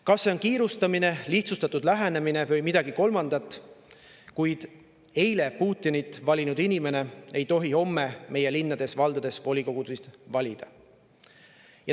Kas see on kiirustamine, lihtsustatud lähenemine või midagi kolmandat, aga eile Putinit valinud inimene ei tohi homme meie linnades ja valdades volikogu valida.